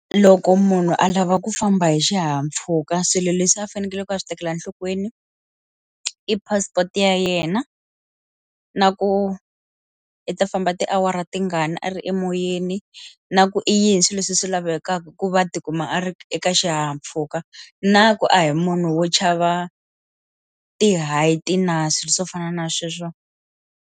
Loko munhu a lava ku famba hi xihahampfhuka swilo leswi a fanekele ku a swi tekela enhlokweni i passport ya yena na ku i ta famba tiawara tingani a ri emoyeni na ku i yini leswi swi lavekaka ku va tikuma a ri eka xihahampfhuka na ku a hi munhu wo chava ti-height na swilo swo fana na sweswo.